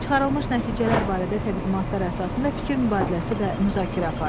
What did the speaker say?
Çıxarılmış nəticələr barədə təqdimatlar əsasında fikir mübadiləsi və müzakirə aparın.